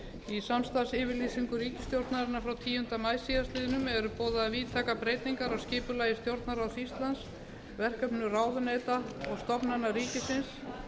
í samstarfsyfirlýsingu ríkisstjórnarinnar frá tíunda maí síðastliðnum eru boðaðar víðtækar breytingar á skipulagi stjórnarráðs íslands verkefnum ráðuneyta og stofnana ríkisins